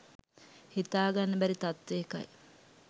හිතාගන්න බැරි තත්ත්වයකයි